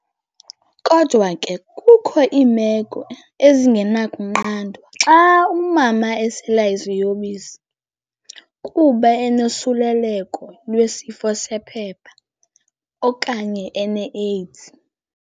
Kodwa ke kukho iimeko ezingenakunqandwa- xa umama esela iziyobisi, kuba enosuleleko lwesifo sephepha, okanye eneAIDS.